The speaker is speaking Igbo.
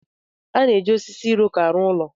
A na-eji osisi Iroko arụ ụlọ.